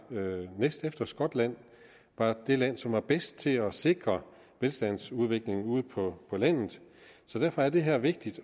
næstefter skotland var det land som var bedst til at sikre velstandsudviklingen ude på landet så derfor er det her vigtigt